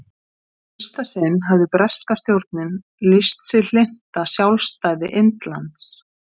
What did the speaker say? Í fyrsta sinn hafði breska stjórnin lýst sig hlynnta sjálfstæði Indlands.